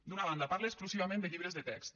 d’una banda parla exclusivament de llibres de text